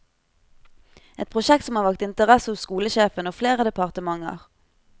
Et prosjekt som har vakt interesse hos skolesjefen og flere departementer.